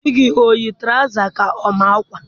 Di gị o yi tụrawụza ka ọ ma akwa?